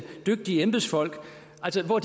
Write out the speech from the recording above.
for